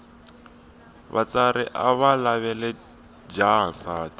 vatswari avalavela jaha nsati